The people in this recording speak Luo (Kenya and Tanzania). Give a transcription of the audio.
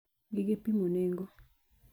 gige pimo nengo.